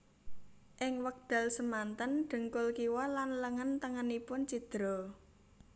Ing wekdal semanten dhengkul kiwa lan lengen tengenipun cidra